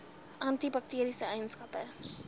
anti bakteriese eienskappe